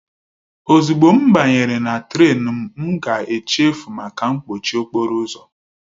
Ozugbo m banyere na Trén m ga-echefu maka mkpọchi okporo ụzọ